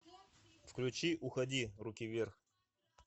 включи уходи руки вверх